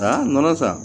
Aa nɔnɔ sa